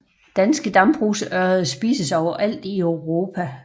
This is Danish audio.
Danske dambrugsørreder spises overalt i Europa